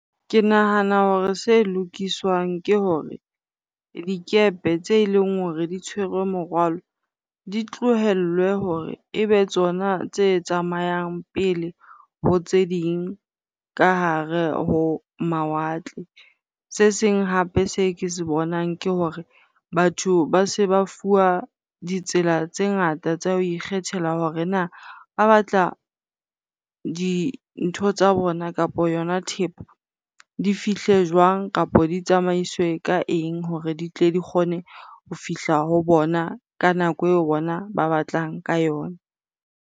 Ke nahana hore se lokiswang ke hore dikepe tse e leng hore di tshwerwe morwalo, di tlohellwe hore e be tsona tse tsamayang pele ho tse ding ka hare ho mawatle. Se seng hape se ke se bonang ke hore batho ba se ba fuwa ditsela tse ngata tsa ho ikgethela hore na ba batla dintho tsa bona kapo yona thepo di fihle jwang? Kapa di tsamaiswe ka eng? hore di tle di kgone ho fihla ho bona ka nako e bona ba batlang ka yona.